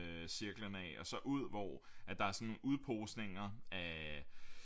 Cirklen af og så ud hvor der er sådan udposninger af